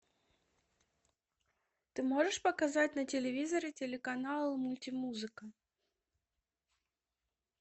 ты можешь показать на телевизоре телеканал мультимузыка